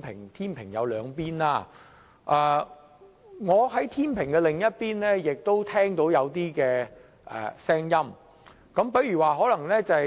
這個天秤有兩端，而我亦聽到天秤另一端的聲音，例如